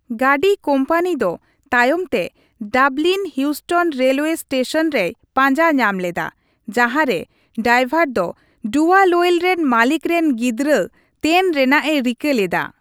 ᱜᱟᱹᱰᱤ ᱠᱳᱢᱯᱟᱱᱤ ᱫᱚ ᱛᱟᱭᱚᱢ ᱛᱮ Dublin Heuston railway station ᱨᱮᱭ ᱯᱟᱸᱡᱟ ᱧᱟᱢ ᱞᱮᱫᱟ, ᱡᱟᱦᱟᱸ ᱨᱮ ᱰᱟᱭᱵᱷᱟᱨ ᱫᱚ ᱰᱩᱣᱟᱞᱳᱭᱮᱞ ᱨᱮᱱ ᱢᱟᱹᱞᱤᱠ ᱨᱮᱱ ᱜᱤᱫᱽᱨᱟᱹ ᱛᱮᱱ ᱨᱮᱱᱟᱜᱼᱮ ᱨᱤᱠᱟᱹ ᱞᱮᱫᱟ ᱾